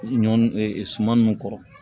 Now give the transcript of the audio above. Ɲɔ suman nunnu kɔrɔ